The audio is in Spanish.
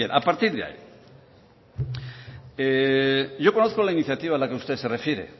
a partir de ahí yo conozco la iniciativa a la que usted se refiere